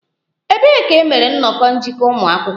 Ebee ka e mere nnọkọ njikọ ụmụ akwụkwọ?